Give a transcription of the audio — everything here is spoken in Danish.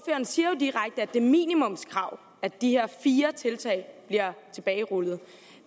siger jo direkte at det er minimumskrav at de her fire tiltag bliver tilbagerullet